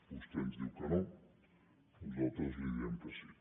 vostè ens diu que no nosaltres li diem que sí